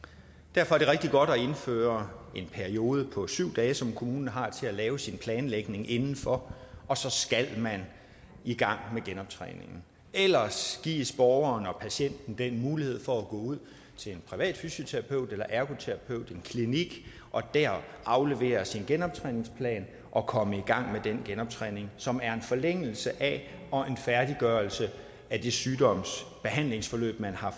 derfor er det rigtig godt at indføre en periode på syv dage som kommunen har til at lave sin planlægning inden for og så skal man i gang med genoptræningen ellers gives borgeren og patienten mulighed for at gå ud til en privat fysioterapeut eller ergoterapeut til en klinik og der aflevere sin genoptræningsplan og komme i gang med den genoptræning som er en forlængelse af og en færdiggørelse af det sygdomsbehandlingsforløb man har